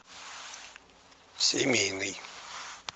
семейный